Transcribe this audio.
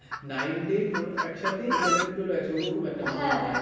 nine ten মানে একসাথে eleven twelve একসাথে ওরকম একটা .